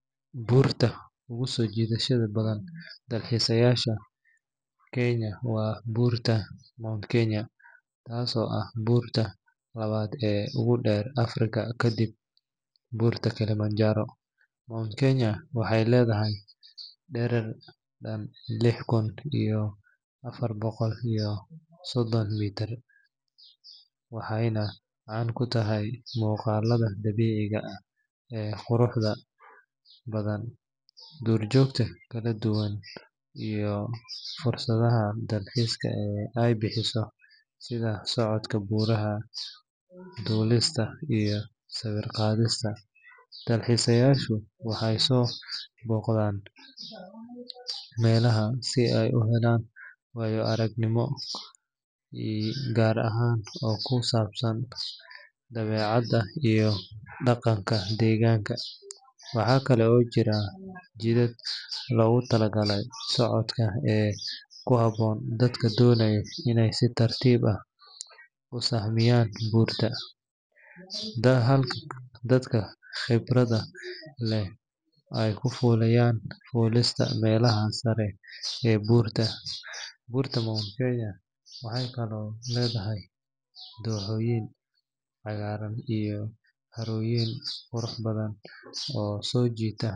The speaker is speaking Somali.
Buurta ugu soo jiidashada badan dalxiisayaasha Kenya waa Buurta Mount Kenya, taasoo ah buurta labaad ee ugu dheer Afrika kadib Buurta Kilimanjaro. Mount Kenya waxay leedahay dherer dhan lix kun iyo afar boqol iyo soddon mitir, waxayna caan ku tahay muuqaalada dabiiciga ah ee quruxda badan, duurjoogta kala duwan iyo fursadaha dalxiiska ee ay bixiso sida socodka buuraha, fuulista, iyo sawir qaadista. Dalxiisayaashu waxay soo booqdaan meelahan si ay u helaan waayo-aragnimo gaar ah oo ku saabsan dabeecadda iyo dhaqanka deegaanka. Waxaa kale oo jira jidad loogu tala galay socodka ee ku habboon dadka doonaya inay si tartiib ah u sahamiyan buurta, halka dadka khibradda leh ay ka fuliyaan fuulista meelaha sare ee buurta. Buurta Mount Kenya waxay kaloo leedahay dooxooyin cagaaran iyo harooyin qurux badan oo soo jiita.